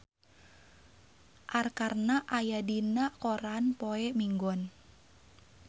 Arkarna aya dina koran poe Minggon